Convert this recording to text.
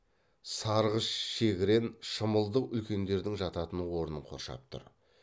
сарғыш шегірен шымылдық үлкендердің жататын орнын қоршап тұр